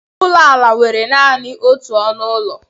Ụlọ ala nwere naanị otu ọnụ ụlọ.